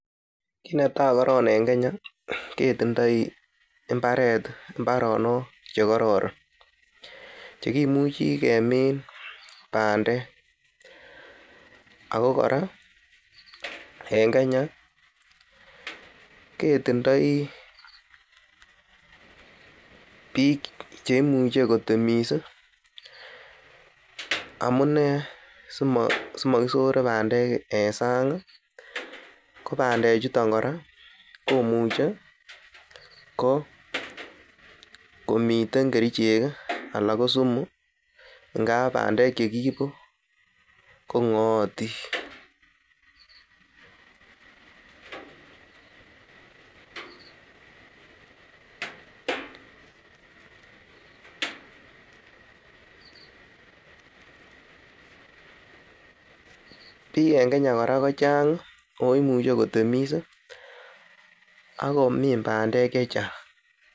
Kit netai koron en Kenya ketindoi imbarenik chekororon chekimuche kemine bandek Ako kora en Kenya ketindoi bik cheimache kotemis amunee ko simakisore bandek en sang ih , amuune komiten kerichek anan ko sumu ingab bandek chekiibu ko ng'aatin. bik en Kenya kora kochang ih akomuche kotemis akomin bandek chechang